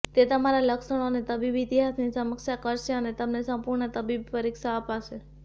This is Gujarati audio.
તે તમારા લક્ષણો અને તબીબી ઇતિહાસની સમીક્ષા કરશે અને તમને સંપૂર્ણ તબીબી પરીક્ષા આપશે